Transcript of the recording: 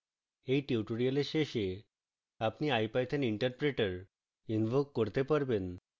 at tutorial শেষে আপনি ipython interpreter invoke করতে পারবেন